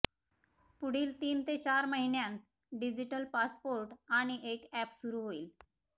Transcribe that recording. पुढील तीन ते चार महिन्यांत डिजीटल पासपोर्ट आणि एक अॅप सुरू होईल